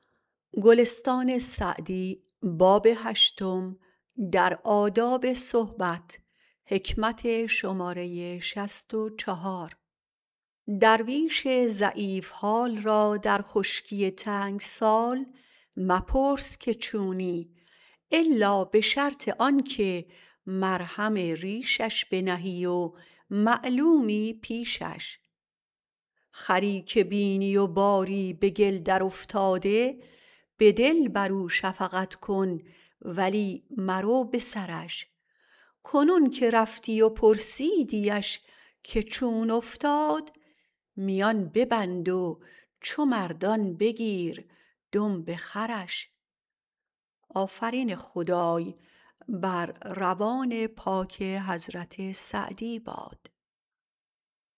درویش ضعیف حال را در خشکی تنگ سال مپرس که چونی الا به شرط آن که مرهم ریشش بنهی و معلومی پیشش خری که بینی و باری به گل درافتاده به دل بر او شفقت کن ولی مرو به سرش کنون که رفتی و پرسیدیش که چون افتاد میان ببند و چو مردان بگیر دمب خرش